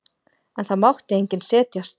En það mátti enginn setjast.